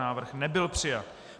Návrh nebyl přijat.